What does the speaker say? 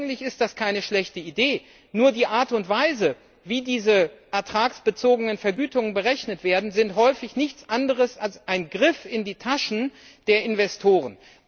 Eigentlich ist das keine schlechte Idee, nur die Art und Weise, wie diese ertragsbezogenen Vergütungen berechnet werden, sind häufig nichts anderes als ein Griff in die Taschen der Investoren.